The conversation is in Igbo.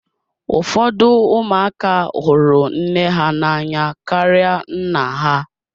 Ụfọdụ ụmụaka hụrụ nne ha n'anya karịa nna ha.